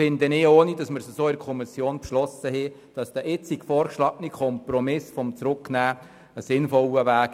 Ohne dass es in der Kommission beschlossen wurde, erachte ich den jetzt vorgeschlagenen Kompromiss der Rückweisung als einen sinnvollen Weg.